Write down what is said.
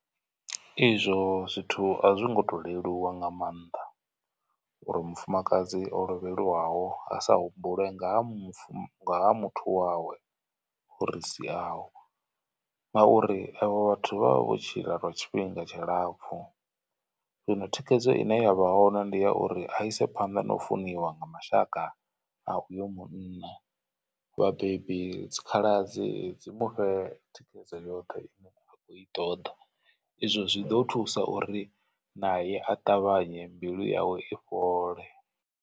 Izwo zwithu a zwi ngo to leluwa nga maanḓa uri mufumakadzi o lovhelwaho a sa humbule nga ha muthu wawe o ri siaho. Ngauri evho vhathu vha vha vho tshila lwa tshifhinga tshilapfhu zwino thikhedzo ine yavha hone ndi ya uri a ise phanḓa na u funiwa nga mashaka a uyo munna. Vhabebi, dzikhaladzi dzi mufhe thikhedzo yoṱhe ine a i ṱoḓa izwo zwi ḓo thusa uri naye a ṱavhanye mbilu yawe i fhole.